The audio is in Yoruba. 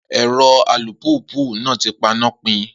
Ero alùpùpù naa ti pan-na pi